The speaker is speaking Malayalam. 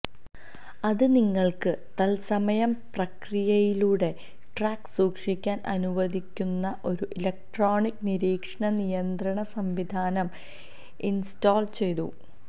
അത് നിങ്ങൾക്ക് തൽസമയം പ്രക്രിയകളുടെ ട്രാക്ക് സൂക്ഷിക്കാൻ അനുവദിക്കുന്ന ഒരു ഇലക്ട്രോണിക് നിരീക്ഷണ നിയന്ത്രണ സംവിധാനം ഇൻസ്റ്റോൾ ചെയ്തു